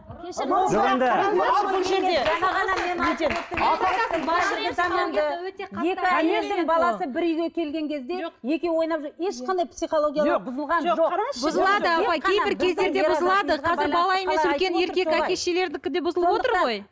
екі әйелдің баласы бір үйге келген кезде екеуі ойнап жүр ешқандай психологиялары бұзылған жоқ қазір бала емес үлкен еркек әке шешелердікі де бұзылып отыр ғой